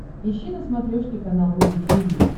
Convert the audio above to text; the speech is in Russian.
ищи на смотрешке канал рубль ти ви